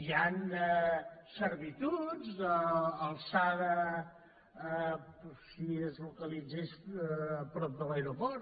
hi han servituds d’alçada si es localitzés prop de l’aeroport